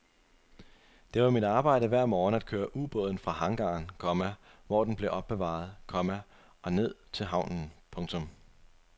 Det var mit arbejde hver morgen at køre ubåden fra hangaren, komma hvor den blev opbevaret, komma og ned til havnen. punktum